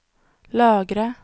lagre